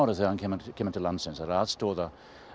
þegar hann kemur kemur til landsins er að aðstoða